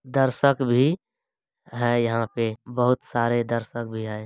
दर्शक भी है यहाँ पे बहुत सारे दर्शक भी है ।